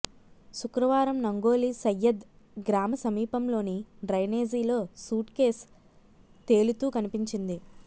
శుక్రవారం నంగోలి సయ్యద్ గ్రామ సమీపంలోని డ్రైనేజీలో సూట్కేసు తేలుతూ కనిపించింది